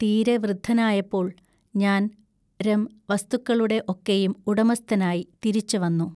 തീരെ വൃദ്ധനായപ്പോൾ ഞാൻ രം വസ്തുക്കളുടെ ഒക്കെയും ഉടമസ്ഥനായി തിരിച്ചവന്നു.